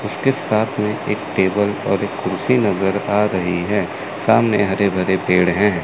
उसके साथ में एक टेबल एक कुर्सी नज़र आ रही है सामने हरे भरे पेड़ हैं।